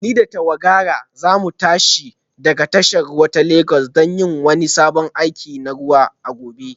Ni da tawagara za mu tashi daga tashar ruwa ta Legas don yin wani sabon aiki na ruwa a gobe